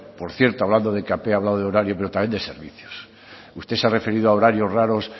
por cierto hablando de ekp he hablado de horario pero también de servicios usted se ha referido a horarios raros